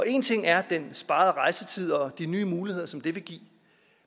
en ting er den sparede rejsetid og de nye muligheder som det vil give